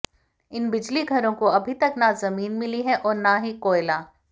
इन बिजलीघरों को अभी तक न जमीन मिली है और न ही कोयला